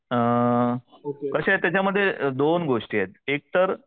अ कसे त्याच्यामध्ये दोन गोष्टी आहेत एकतर